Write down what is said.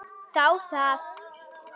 Þá það.